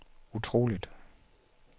utroligt